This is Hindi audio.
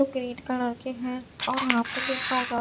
ग्रीन कलर के है और यहां पे दिन का उजा--